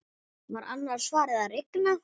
Var annars farið að rigna?